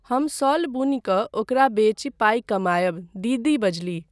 हम शॉल बुनि कऽ ओकरा बेचि पाइ कमायब, दीदी बजलीह।